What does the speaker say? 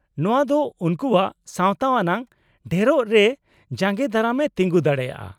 -ᱱᱚᱶᱟ ᱫᱚ ᱩᱱᱠᱩᱣᱟᱜ ᱥᱟᱶᱛᱟ ᱟᱱᱟᱜ ᱰᱷᱮᱨᱚᱜ ᱨᱮ ᱡᱟᱜᱮᱸᱫᱟᱨᱟᱢᱮ ᱛᱤᱜᱩᱸ ᱫᱟᱲᱮᱭᱟᱜᱼᱟ ᱾